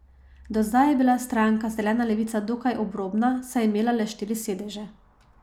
Do zdaj je bila stranka Zelena levica dokaj obrobna, saj je imela le štiri sedeže.